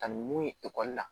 Ka ni mun ye ekɔli la